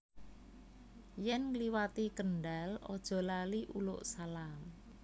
Yen ngliwati Kendal ojo lali uluk salam